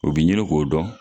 U bɛ ɲini k'o dɔn.